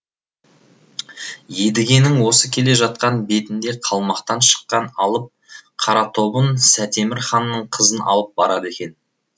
едігенің осы келе жатқан бетінде қалмақтан шыққан алып қаратобын сәтемір ханның кызын алып барады екен